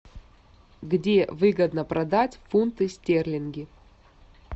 где выгодно продать фунты стерлинги